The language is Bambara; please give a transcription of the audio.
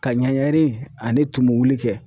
Ka ɲɛɲɛri ani tumu wuli kɛ.